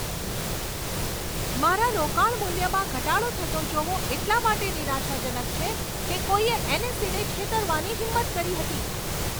મારા રોકાણ મૂલ્યમાં ઘટાડો થતો જોવો એટલા માટે નિરાશાજનક છે કે કોઈએ એન.એસ.ઈ.ને છેતરવાની હિંમત કરી હતી.